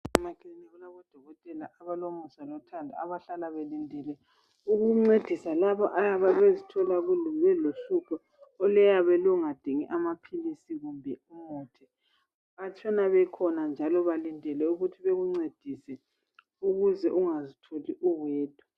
Emaklinika kulabo dokotela abalomisa lothando abahlala belindile ukuncedisa laba abazithola belohlupho oluyabe lungadingi amaphilizi kumbe umuthi, bahlala bekhona njalo balindele ukuthi bekuncedise ukuze ungazitholi uwedwa.